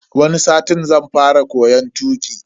Wani satin zan fara koyon tuki.